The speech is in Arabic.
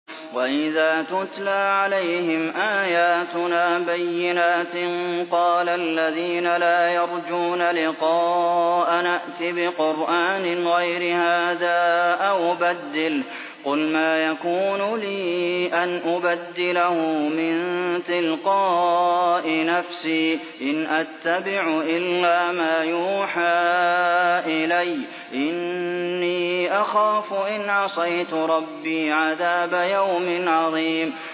وَإِذَا تُتْلَىٰ عَلَيْهِمْ آيَاتُنَا بَيِّنَاتٍ ۙ قَالَ الَّذِينَ لَا يَرْجُونَ لِقَاءَنَا ائْتِ بِقُرْآنٍ غَيْرِ هَٰذَا أَوْ بَدِّلْهُ ۚ قُلْ مَا يَكُونُ لِي أَنْ أُبَدِّلَهُ مِن تِلْقَاءِ نَفْسِي ۖ إِنْ أَتَّبِعُ إِلَّا مَا يُوحَىٰ إِلَيَّ ۖ إِنِّي أَخَافُ إِنْ عَصَيْتُ رَبِّي عَذَابَ يَوْمٍ عَظِيمٍ